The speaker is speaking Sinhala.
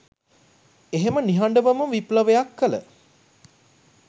එහෙම නිහඬවම විප්ලවයක් කල